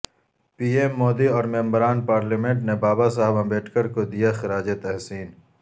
پی M Modi اور ممبران parliament نے بابا صاحب امبیڈکر کو دیا خراج تحسین